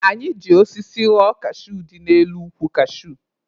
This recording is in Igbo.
Anyị ji osisi ghọọ kashuu dị n'elu ukwu kashuu.